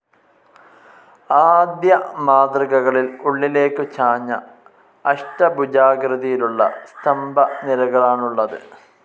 ആദ്യ മാതൃകകളിൽ ഉള്ളിലേക്കു ചാഞ്ഞ അഷ്ടഭുജാകൃതിയിലുള്ള സ്തംഭ നിരകളാണുള്ളതു്.